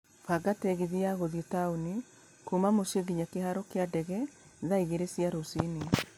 banga tegithi ya gũthiĩ taũni kuuma mũciĩ nginya kĩhaaro ya ndege thaa igĩrĩ cia rũcinĩ